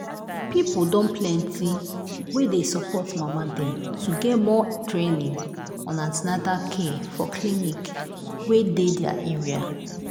people don dey plenty wey dey support mama dem to get more training on an ten atal care for clinic wey dey their area.